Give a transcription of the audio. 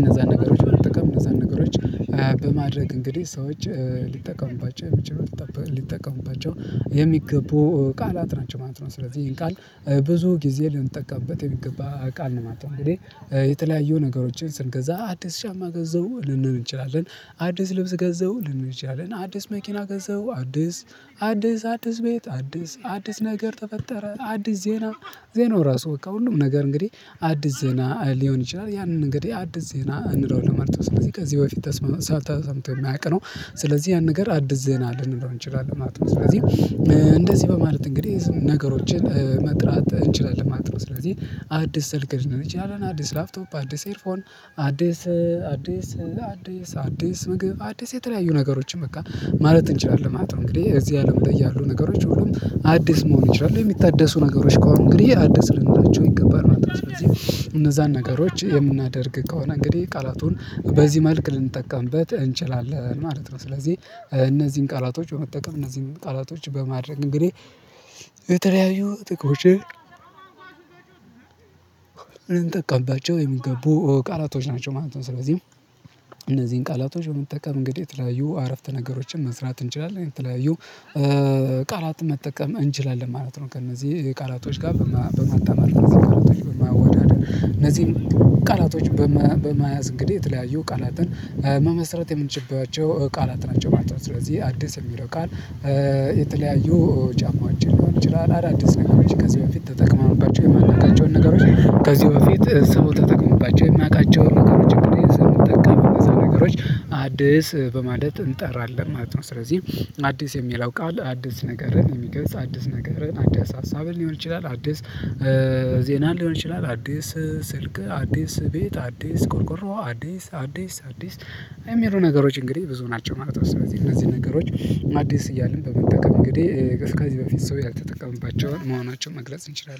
እነዛን ነገሮች በጠቀም እነዛን ነገሮች በማድረግ እንግዲህ ሰዎች ሊጠቀሙባቸው የሚችሉት ሊጠቀሙባቸው የሚገቡ ቃላት ናቸው ማለት ነው ስለዚህ ይሄን ቃል ብዙ ጊዜ ልንጠቀምበት የሚገባ ቃል ነው ማለት ነው። እኔ የተለያዩ ነገሮችን ስንገዛ አዲስ ጫማ ገዛው ልንል እንችላለን አዲስ ልብስ ገዛው ልንል እንችላለን አዲስ መኪና ገዛው አዲስ አዲስ አዲስ ቤት አዲስ አዲስ ነገር ተፈጠረ አዲስ ዜና ዜናው ራሱ ከሁሉም ነገር እንግዲህ አዲስ ዜና ሊሆን ይችላል። ያንን እንግዲህ አዲስ ዜና እንለዋለን ማለት ነው ስለዚህ ከዚህ በፊት ተሰምቶ የመያውቅ ነው ስለዚህ ያን ነገር አዲስ ዜና እንችላለን ማለት ነው። ስለዚህ እንደዚህ በማለት እንግዲህ ነገሮችን መጥራት እንችላለን ማለት ነው። ስለዚህ አዲስ ስልክ ልንል እንችላለን አዲስ ላፕቶፕ አዲስ ኤርፎን አዲስ አዲስ አዲስ አዲስ ምግብ አዲስ የተለያዩ ነገሮችን በቃ ማለት እንችላለን ማለት ነው። እንግዲህ እዚህ አለም ላይ ያሉ ነገሮች ሁሉም አዲስ መሆን ይችላል የሚታደሱ ነገሮች ከሆኑ እንግዲህ አዲስ ልንላቸው ይገባል ማለት ነው። እነዛን ነገሮች የምናደርግ ከሆነ እንግዲህ ቃላቱን በዚህ መልክ ልንጠቀምበት እንችላለን ማለት ነው። ስለዚህ እነዚህን ቃላቶች በመጠቀም እነዚህን ቃላቶች በማድረግ እንግዲህ የተለያዩ ጥቅሞችን እንጠቀምባቸው የሚገቡ ቃላቶች ናቸው ማለት ነው። ስለዚህ እነዚህን ቃላቶች በመጠቀም እንግዲህ የተለያዩ አረፍተ ነገሮችን መስራት እንችላለን የተለያዩ ቃላት መጠቀም እንችላለን ማለት ነው። ከእነዚህ ቃላቶች ጋር በማጣመር ቃላቶች በማወዳደር እነዚህን ቃላቶች በመያዝ እንግዲህ የተለያዩ ቃላትን መመስረት የምንችልባቸው ቃላት ናቸው ማለት ነው። ስለዚህ አዲስ የሚለው ቃል የተለያዩ ጫማዎችን ሊሆን ይችላል አዳዲስ ነገሮች ከዚህ በፊት ተጠቅመንባቸው የማናቃቸውን ነገሮች ከዚህ በፊት ሰው ተጠቅሞባቸው የማያቃቸውን ነገሮችን እንግዲህ እነዛ ነገሮች አዲስ በማለት እንጠራለን ማለት ነው። ስለዚህ አዲስ የሚለው ቃል አዲስ ነገርን የሚገልጽ አዲስ ነገርን አዲስ ሀሳብን ሊሆን ይችላል አዲስ ዜናን ሊሆን ይችላል አዲስ ስልክ አዲስ ቤት አዲስ ቆርቆሮ አዲስ አዲስ አዲስ አዲስ የሚሉ ነገሮች እንግዲህ ብዙ ናቸው ማለት ነው። ስለዚህ እነዚህ ነገሮች አዲስ እያልን በመጠቀም እንግዲህ ከዚህ በፊት ሰው ያልተጠቀመባቸውን መሆናቸውን መግለጽ እንችላለን